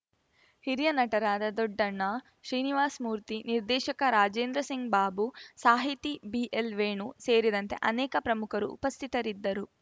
ಹಿರಿಯ ನಟರಾದ ದೊಡ್ಡಣ್ಣ ಶ್ರೀನಿವಾಸ್‌ ಮೂರ್ತಿ ನಿರ್ದೇಶಕ ರಾಜೇಂದ್ರಸಿಂಗ್‌ ಬಾಬು ಸಾಹಿತಿ ಬಿಎಲ್‌ವೇಣು ಸೇರಿದಂತೆ ಅನೇಕ ಪ್ರಮುಖರು ಉಪಸ್ಥಿತರಿದ್ದರು